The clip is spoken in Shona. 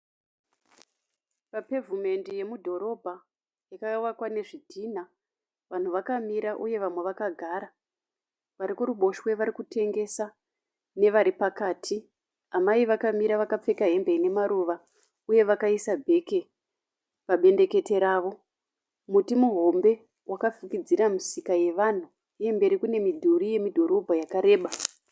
Papevhumendi yemudhorobha yakavakwa nezvidhina. Vanhu vakamira uye vamwe vakagara. Vari kuruboshwe vari kutengesa nevari pakati. Amai vakamira vakapfeka hembe ine maruva uye vakaisa bheke pabendekete ravo. Muti muhombe wakafukidzira misika yevanhu uye mberi kune midhuri yemudhorobha yakareba.